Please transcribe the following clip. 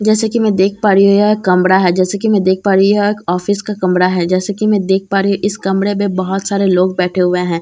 जैसे कि मैं देख पा रही हूँ यह एक कमरा है जैसे कि मैं देख पा रही है यह एक ऑफिस का कमरा है जैसे कि मैं देख पा रही हूँ इस कमरे में बहुत सारे लोग बैठे हुए हैं।